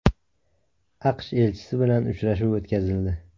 AQSh elchisi bilan uchrashuv o‘tkazildi .